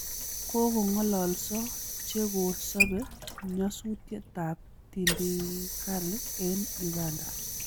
Kogong'alalso che ko sabee nyasutiet ab tindikali eng' Uganda